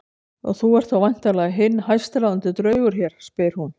Og þú ert þá væntanlega hinn hæstráðandi draugur hér, spyr hún.